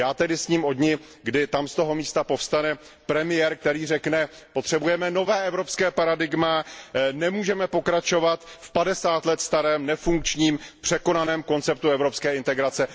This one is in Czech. Já tedy sním o dni, kdy tam z toho místa povstane premiér, který řekne Potřebujeme nové evropské paradigma, nemůžeme pokračovat v padesát let starém, nefunkčním, překonaném konceptu evropské integrace.